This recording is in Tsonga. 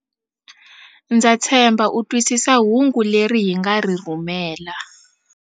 Ndza tshemba u twisisa hungu leri hi nga ri rhumela.